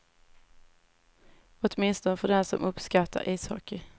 Åtminstone för den som uppskattar ishockey.